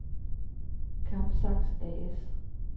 Kampsax A/S